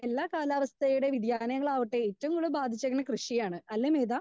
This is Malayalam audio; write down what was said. സ്പീക്കർ 2 എല്ലാ കാലാവസ്ഥയുടെയും വിദ്യാലയങ്ങളാവട്ടെ ഏറ്റവും കൂടുതൽ ബാധിച്ചിരുന്നത് കൃഷിയെയാണ് അല്ലേ മേഘാ?